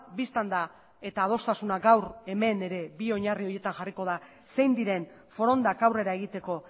bistan da eta adostasuna gaur hemen ere bi oinarri horietan jarriko da zein diren forondak aurrera egiteko